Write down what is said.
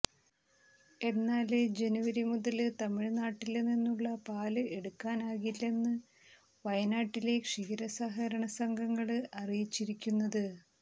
എന്നാല് ജനുവരി മുതല് തമിഴ്നാട്ടില്നിന്നുള്ള പാല് എടുക്കാനാകില്ലെന്ന് വയനാട്ടിലെ ക്ഷീര സഹകരണ സംഘങ്ങള് അറിയിച്ചിരിക്കുന്നത്